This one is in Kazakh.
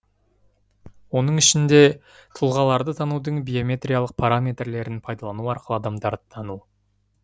оның ішінде тұлғаларды танудың биометриялық параметрлерін пайдалану арқылы адамдарды тану